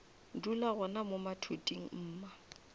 dula gona mo mathuding mma